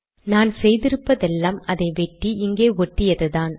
நான் செய்து இருப்பதெல்லாம் அதை வெட்டி இங்கே ஒட்டியதுதான்